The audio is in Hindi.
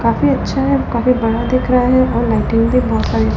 काफी अच्छा है काफी बड़ा दिख रहा है और लाइटिंग भी बहुत सारी--